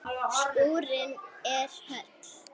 Skúrinn er höll.